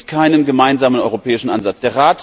Es gibt keinen gemeinsamen europäischen Ansatz.